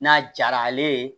N'a jara ale ye